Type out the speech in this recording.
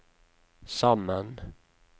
sammen